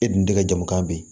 E dun tɛ ka jamu kan bi